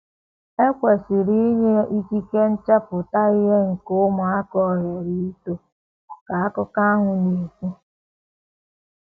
“ E kwesịrị inye ikike nchepụta ihe nke ụmụaka ohere ito, ” ka akụkọ ahụ na - ekwu.